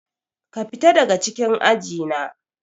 Ka fita daga cikin aji na.